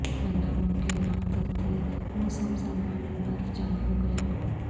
ورنہ ممکن اخترتی موسم سرما میں برف جمع ہو گیا